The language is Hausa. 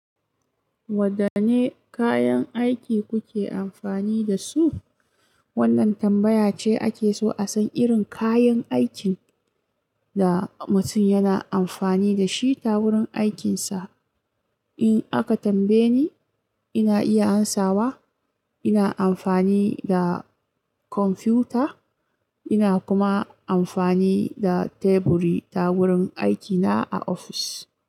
Wadanne kayan aiki kuke amfani da su? Wannan tambaya ce ake so a san irin kayan aikin da mutum yana amfani da shi ta wurin aikinsa. In aka tambaye ni, ina iya ansawa, ina amfani da kwamfuta, ina kuma amfani da teburi ta wurin aikina a ofis.